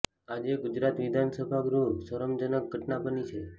આજે ગુજરાત વિધાનસભા ગૃહમાં સરમ જનક ઘટના બની છે